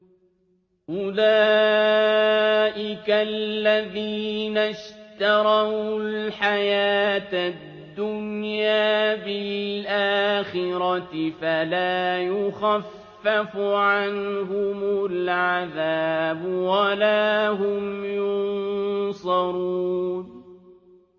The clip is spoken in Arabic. أُولَٰئِكَ الَّذِينَ اشْتَرَوُا الْحَيَاةَ الدُّنْيَا بِالْآخِرَةِ ۖ فَلَا يُخَفَّفُ عَنْهُمُ الْعَذَابُ وَلَا هُمْ يُنصَرُونَ